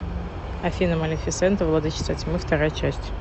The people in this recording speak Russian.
афина малефисента владычица тьмы вторая часть